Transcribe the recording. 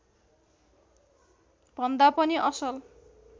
भन्दा पनि असल